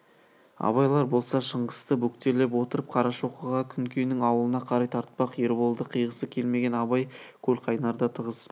абайлар болса шыңғысты бөктерлеп отырып қарашоқыға күнкенің аулына қарай тартпақ ерболды қиғысы келмеген абай көлқайнарда тығыз